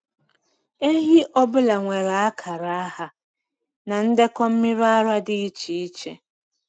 Ehi ọ bụla nwere akara aha na ndekọ mmiri ara dị iche iche.